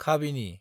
खाबिनि